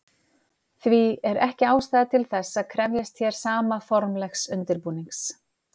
Því er ekki ástæða til þess að krefjast hér sama formlegs undirbúnings.